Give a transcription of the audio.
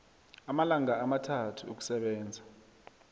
amalanga amathathu ukusebenza